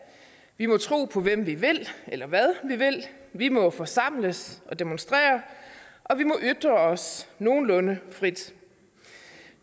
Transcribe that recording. vi må tro på hvem vi vil eller hvad vi vil vi må forsamles og demonstrere og vi må ytre os nogenlunde frit